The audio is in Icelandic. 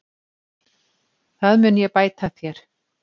Það mun ég bæta þér.